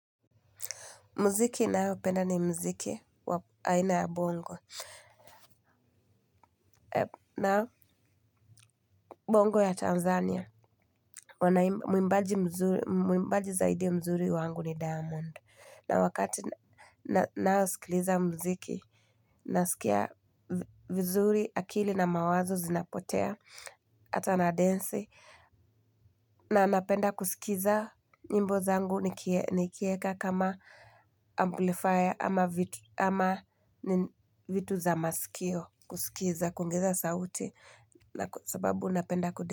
Muziki ninayopenda ni muziki wa aina ya bongo. Nao, bongo ya Tanzania, mwimbaji zaidi mzuri wangu ni diamond. Na wakati nayosikiliza mziki, nasikia vizuri akili na mawazo zinapotea, ata nadensi, na napenda kusikiza nyimbo zangu nikieka kama amplifier. Ama vitu za masikio, kusikiza, kuongeza sauti, sababu napenda kudema.